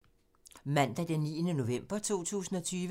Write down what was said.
Mandag d. 9. november 2020